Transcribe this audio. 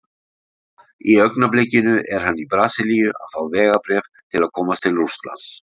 Í augnablikinu er hann í Brasilíu að fá vegabréf til að komast til Rússlands.